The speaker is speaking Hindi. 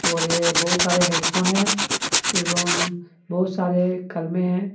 और ये बहुत सारे हेडफोन है एवं बहुत सारे कलमे है।